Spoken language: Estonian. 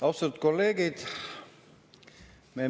Austatud kolleegid!